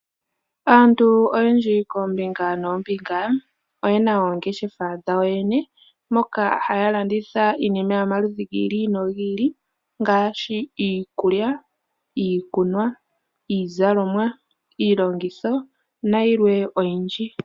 Aantu oyendji koombinga noombinga oyena oongeshefa dhawo yene moka haa landitha iinima yomaludhi gi ili nogi ili ngaashi iikulya, iikunwa, iizalomwa, iilongitho nayilwe oyindji.